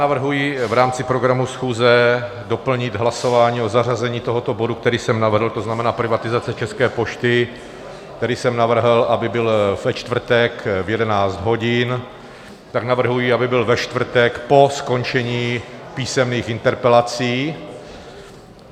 Navrhuji v rámci programu schůze doplnit hlasování o zařazení tohoto bodu, který jsem navrhl - to znamená privatizace České pošty - který jsem navrhl, aby byl ve čtvrtek v 11 hodin, tak navrhuji, aby byl ve čtvrtek po skončení písemných interpelací.